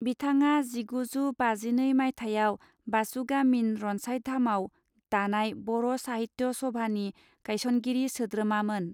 बिथाङा जिगु जू बाजिनै माइथायाव बासुगािमिन रनसायधामाव दानाय बर साहित्य सभानि गायसनगिरि सोद्रोमामोन।